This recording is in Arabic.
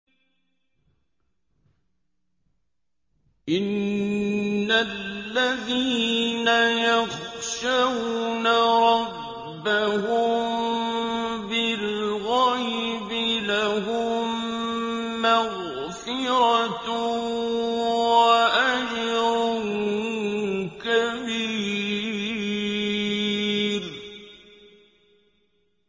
إِنَّ الَّذِينَ يَخْشَوْنَ رَبَّهُم بِالْغَيْبِ لَهُم مَّغْفِرَةٌ وَأَجْرٌ كَبِيرٌ